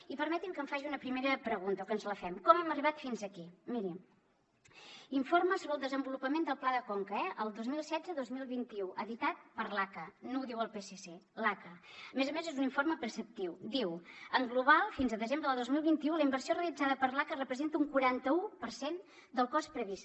i permetin me que em faci una primera pregunta o que ens la fem com hem arribat fins aquí miri informe sobre el desenvolupament del pla de conca el dos mil setze dos mil vint u editat per l’aca no ho diu el psc l’aca a més a més és un informe preceptiu diu en global fins a desembre de dos mil vint u la inversió realitzada per l’aca representa un quaranta u per cent del cost previst